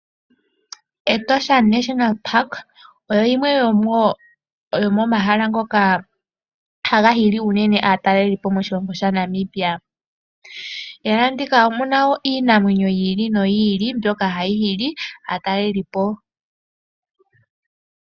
Etosha olyo limwe lyomomahala ngoka haga hili uunene aatalelipo moshilongo shaNamibia. Ehala ndika omu na iinamwenyo yi ili noyi ili mbyoka hayi hili aatalelipo.